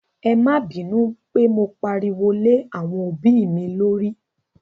É ma binu pe mo pariwo lé àwọn òbí mi lórí.